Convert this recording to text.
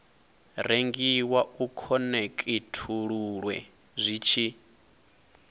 rengiwa u khonekhithululwe zwi tshi